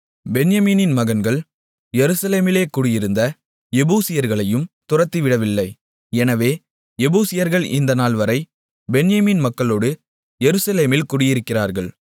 பென்யமீனின் மகன்கள் எருசலேமிலே குடியிருந்த எபூசியர்களையும் துரத்திவிடவில்லை எனவே எபூசியர்கள் இந்த நாள்வரை பென்யமீன் மக்களோடு எருசலேமில் குடியிருக்கிறார்கள்